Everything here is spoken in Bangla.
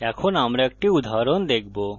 এখন আমরা একটি উদাহরণ দেখবো